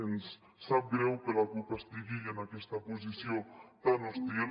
ens sap greu que la cup estigui en aquesta posició tan hostil